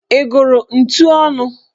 Ị gụrụ ntu ọnụ?